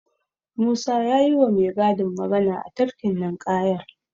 Musa ya yiwa mai gadin magana a tafkin ninƙayar.